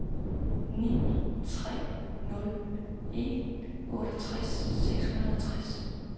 ni tre nul en otteogtres seks hundrede og tres